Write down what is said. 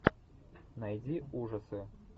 найди ужасы